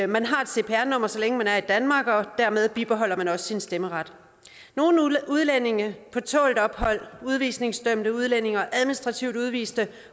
man har et cpr nummer så længe man er i danmark og dermed bibeholder man også sin stemmeret nogle udlændinge på tålt ophold udvisningsdømte udlændinge og administrativt udviste